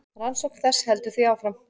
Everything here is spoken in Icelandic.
Rannsókn þess heldur því áfram.